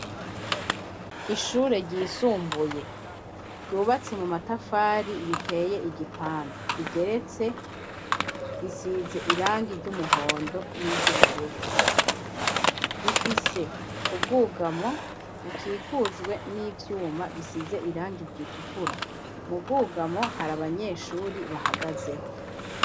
Ishure ryisumbuye, ryubatse mu matafari riteye igipande, rigeretse risize irangi ry'umuhondo niry'ubururu, rifise ubwugamo bukikujwe n'ivyuma bisize irangi ritukura, mu bwugamo hari abanyeshuri bahagazeho.